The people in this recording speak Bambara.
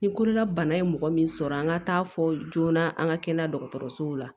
Ni kololabana ye mɔgɔ min sɔrɔ an ka taa fɔ joona an ka kɛnɛya dɔgɔtɔrɔsow la